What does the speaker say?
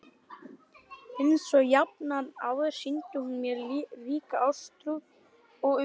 Einsog jafnan áður sýndi hún mér ríka ástúð og umhyggju.